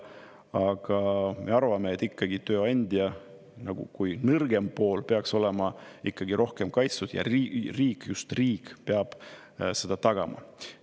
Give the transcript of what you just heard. Aga me arvame, et tööandja kui nõrgem pool peaks olema ikkagi rohkem kaitstud ja riik, just riik peab seda tagama.